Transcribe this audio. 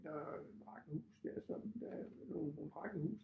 Der øh var et hus der som øh nogle nogle rækkehus